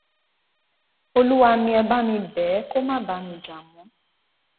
olúwa mi ẹ bá mi bẹ ẹ kó má bá mi jà mọ